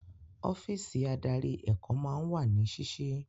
Ọ́físì adarí èkó máa ń wà ní sísí.